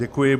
Děkuji.